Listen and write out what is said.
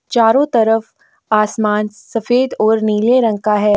चारों तरफ आसमान सफेद और नीले रंग का है।